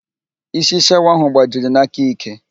Isi shawa ahụ gbajiri n'aka ike